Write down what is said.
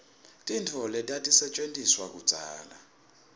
tintfo letatisetjentiswa kudzala